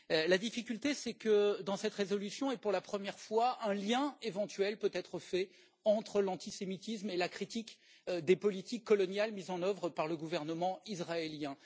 La difficulté, c'est que, dans cette résolution, et pour la première fois, un lien éventuel peut être fait entre l'antisémitisme et la critique des politiques coloniales mises en œuvre par le gouvernement israélien.